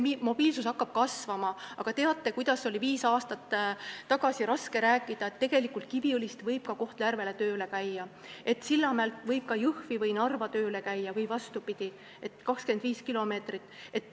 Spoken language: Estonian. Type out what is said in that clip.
Mobiilsus hakkab nüüd kasvama, aga teate, kui raske oli viis aastat tagasi rääkida, et tegelikult võib Kiviõlist ka Kohtla-Järvele tööle käia, et Sillamäelt võib ka Jõhvi või Narva tööle käia või vastupidi, sest see on 25 kilomeetrit.